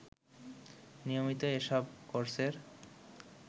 নিয়মিতই এসব কোর্সের